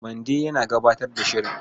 Mande yana gabatar da shirin.